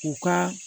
U ka